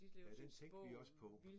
Ja den tænkte vi også på